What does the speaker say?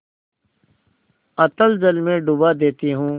अतल जल में डुबा देती हूँ